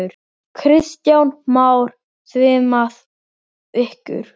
Kristján Már: Svimaði ykkur?